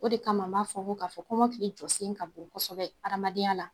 O de kama an b'a fɔ ko k'a fɔ kɔmɔkili jɔsen ka bon kosɛbɛ adamadenya la